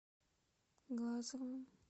глазовым